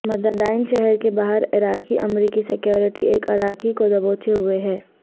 مدائن شہر کے باہر عراقی امریکی سکیورٹی ایک عراقی کو دبوچے ہوئے ہیں